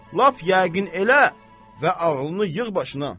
Lap yəqin elə və ağlını yığ başına.